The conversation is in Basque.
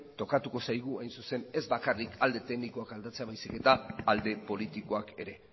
tokatuko zaigu hain zuzen ez bakarrik alde teknikoak aldatzea baizik eta alde politikoak ere